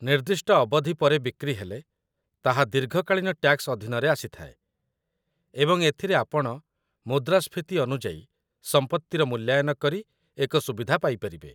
ନିର୍ଦ୍ଦିଷ୍ଟ ଅବଧି ପରେ ବିକ୍ରି ହେଲେ, ତାହା ଦୀର୍ଘକାଳୀନ ଟ୍ୟାକ୍ସ ଅଧୀନରେ ଆସିଥାଏ, ଏବଂ ଏଥିରେ ଆପଣ ମୁଦ୍ରାସ୍ଫୀତି ଅନୁଯାୟୀ ସମ୍ପତ୍ତିର ମୂଲ୍ୟାୟନ କରି ଏକ ସୁବିଧା ପାଇପାରିବେ